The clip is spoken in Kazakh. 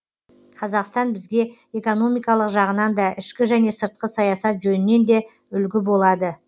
қазақстан бізге экономикалық жағынан да ішкі және сыртқы саясат жөнінен де үлгі болады